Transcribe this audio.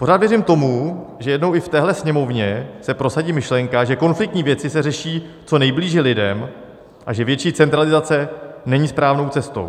Pořád věřím tomu, že jednou i v téhle Sněmovně se prosadí myšlenka, že konfliktní věci se řeší co nejblíže lidem a že větší centralizace není správnou cestou.